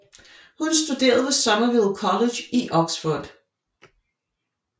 Hun studerede ved Somerville College i Oxford